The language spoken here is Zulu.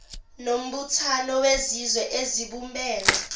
nombuthano wezizwe ezibumbene